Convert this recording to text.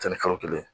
ni kalo kelen